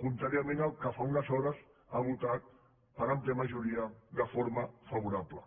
contràriament al que fa unes hores ha votat per àmplia majoria de forma favorable